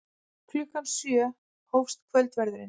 Klukkan sjö hófst kvöldverðurinn.